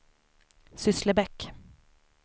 Sysslebäck